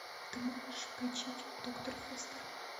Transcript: ты можешь включить доктор фостер